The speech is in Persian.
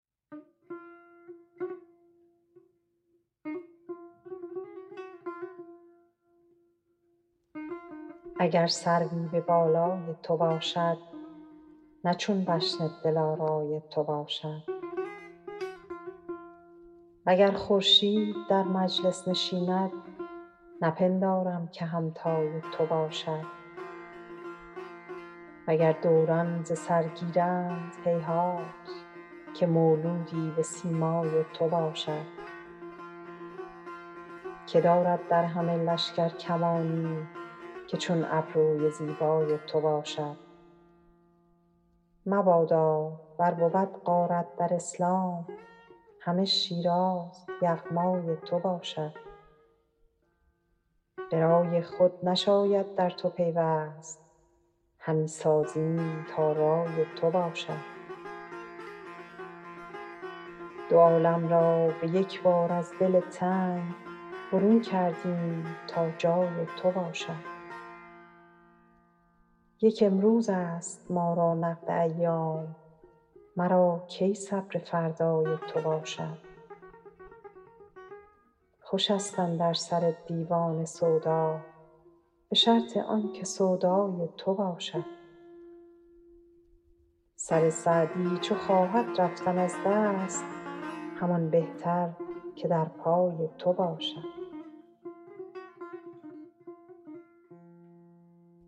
اگر سروی به بالای تو باشد نه چون بشن دلارای تو باشد و گر خورشید در مجلس نشیند نپندارم که همتای تو باشد و گر دوران ز سر گیرند هیهات که مولودی به سیمای تو باشد که دارد در همه لشکر کمانی که چون ابروی زیبای تو باشد مبادا ور بود غارت در اسلام همه شیراز یغمای تو باشد به رای خود نشاید در تو پیوست همی سازیم تا رای تو باشد دو عالم را به یک بار از دل تنگ برون کردیم تا جای تو باشد یک امروزست ما را نقد ایام مرا کی صبر فردای تو باشد خوشست اندر سر دیوانه سودا به شرط آن که سودای تو باشد سر سعدی چو خواهد رفتن از دست همان بهتر که در پای تو باشد